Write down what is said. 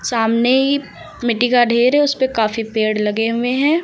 सामने ही मिट्टी का ढेर है उसपे काफी पेड़ लगे हुए हैं।